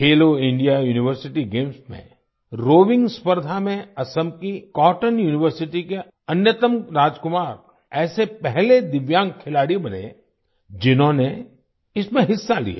खेलो India University Games में rowing स्पर्धा में असम की कॉटन यूनिवर्सिटी के अन्यतम राजकुमार ऐसे पहले दिव्यांग खिलाड़ी बने जिन्होंने इसमें हिस्सा लिया